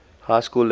high school level